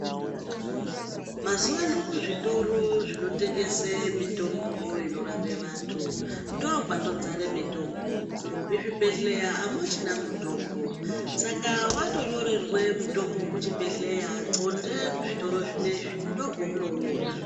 Mazuwa ano kuzvitoro zvinotengese mitombo inorape antu ndokwatodzara mitombo. Kuzvibhedhleya amuchina mutombo. Saka watonyorerwa mutombo kuchibhedhleya qonde kuzvitoro zvinezvi ndokwaunouwona.